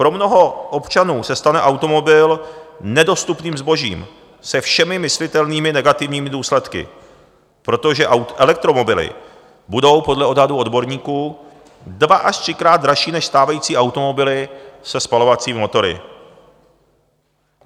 Pro mnoho občanů se stane automobil nedostupným zbožím se všemi myslitelnými negativními důsledky, protože elektromobily budou podle odhadu odborníků dva- až třikrát dražší než stávající automobily se spalovacími motory.